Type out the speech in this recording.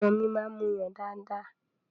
Ọmọ mi máa ń muyàn dáadáa.